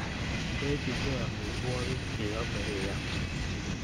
Ndochinkey amitwogik che yame iam